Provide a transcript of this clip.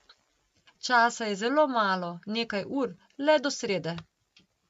Časa je zelo malo, nekaj ur, le do srede.